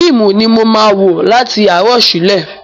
Fíìmù ni mo máa wo láti àárọ̀ ṣúlẹ̀.